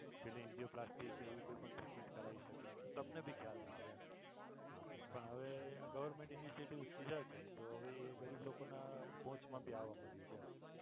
પેલી angioplasty કે એવી કોઈ પણ treatment કરાવી શકે. સ્વપ્ને ભી ખ્યાલ ના આવે પણ હવે આ government initative લીધા છે તો હવે એ ગરીબ લોકોના પહોંચ મા ભી આવવા મળ્યું છે.